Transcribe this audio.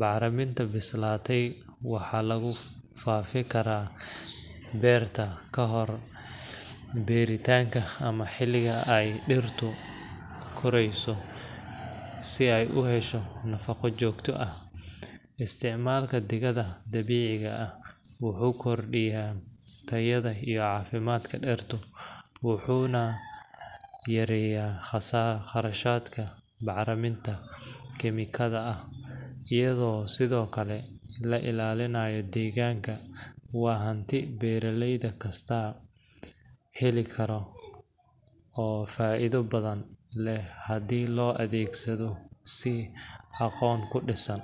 Bacraminta bislaatay waxaa lagu faafi karaa beerta kahor beerritaanka ama xilliga ay dhirtu korayso si ay u hesho nafaqo joogto ah. Isticmaalka digada dabiiciga ah wuxuu kordhiyaa tayada iyo caafimaadka dhirta, wuxuuna yareeyaa kharashadka bacaha kiimikada ah, iyadoo sidoo kale la ilaalinayo deegaanka. Waa hanti beeraley kasta heli karo oo faa’iido badan leh haddii loo adeegsado si aqoon ku dhisan.